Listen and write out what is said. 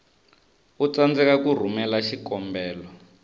u tsandzeka ku rhumela xikombelo